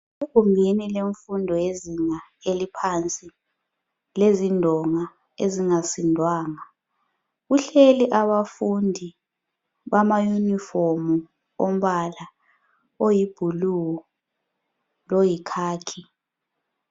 Egumbini lemfundo yezinga eliphansi lezindonga ezingasindwanga, kuhleli abafundi bama yunifomu ombala oyibhulu loyikhakhi.